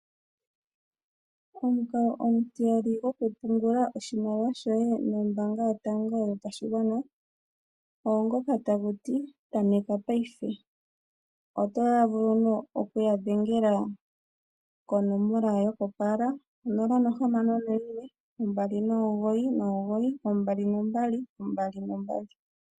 Omukalo omutiyali gokupungula oshimaliwa shoye nombaanga yotango yopashigwana ogo ngoka tagu ti tameka ngashingeyi. Oto vulu oku yadhengela konomola yokopaala onola nohamano noyimwe ombali nomugoyi nomugoyi ombali nombali ombali nombali.